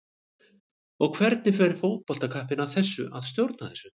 Og hvernig fer fótboltakappinn að því að stjórna þessu?